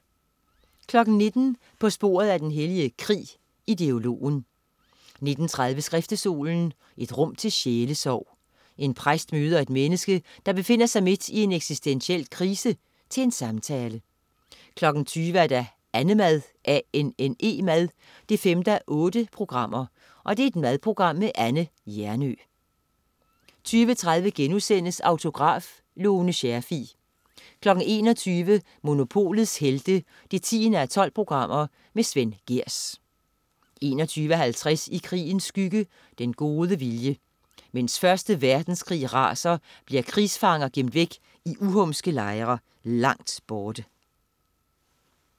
19.00 På sporet af den hellige krig. Ideologen 19.30 Skriftestolen. Et rum til sjælesorg. En præst møder et menneske, der befinder sig midt i en eksistentiel krise, til en samtale 20.00 Annemad 5:8. Madprogram med Anne Hjernøe 20.30 Autograf: Lone Scherfig* 21.00 Monopolets Helte 10:12. Svend Gehrs 21.50 I krigens skygge. Den gode vilje. Mens Første Verdenskrig raser, bliver krigsfanger gemt væk i uhumske lejre langt borte